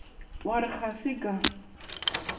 wa re ga se ka